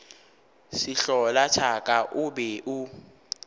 sehlola thaka o be o